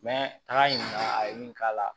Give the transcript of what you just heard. an y'a ɲininka a ye min k'a la